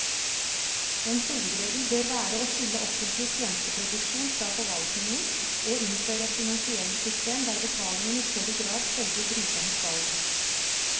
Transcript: En hovedregel bør være å skille offentlig tjenesteproduksjon fra forvaltningen og innføre et finansieringssystem der betalingen i større grad følger brukernes valg.